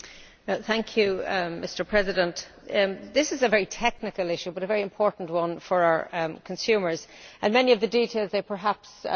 Mr President, this is a very technical issue but a very important one for our consumers and many of the details they perhaps do not need to know.